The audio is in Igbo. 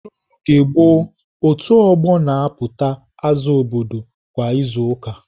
N'oge gboo, otu ọgbọ na-apụta aza obodo kwa izu ụka.